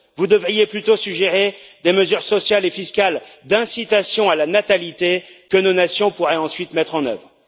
Vous devriez plutôt suggérer des mesures sociales et fiscales d'incitation à la natalité que nos nations pourraient ensuite mettre en œuvre.